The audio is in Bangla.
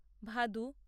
ভাদু